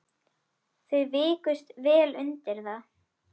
Þau vikust vel undir það.